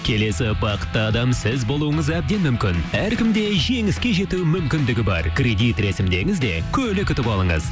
келесі бақытты адам сіз болуыңыз әбден мүмкін әркімде жеңіске жету мүмкіндігі бар кредит рәсімдеңіз де көлік ұтып алыңыз